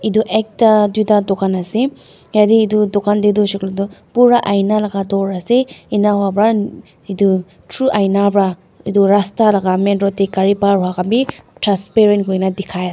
etu ekta toi da tukan asae tadae etu tokan dae hoishae koilae toh pura aina laka door asae enka hoa para etu through aina parra etu rasta laka main road dae kari par hoa kan bi transparent hoina dikai asae.